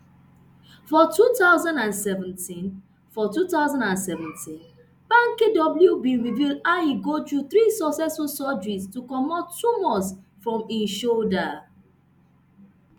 for two thousand and seventeen for two thousand and seventeen banky w bin reveal how e go through three successful surgeries to comot tumours from im shoulder